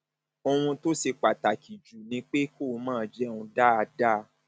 ohun tó ṣe pàtàkì jù ni pé kó máa jẹun dáadáa